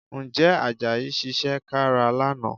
Ǹjẹ́ Àjàyí ṣiṣẹ́ kára lánàá?